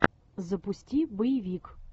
запусти боевик